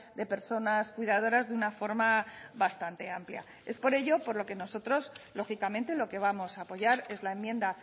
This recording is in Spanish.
de personas cuidadoras de una forma bastante amplia es por ello por lo que nosotros lógicamente lo que vamos a apoyar es la enmienda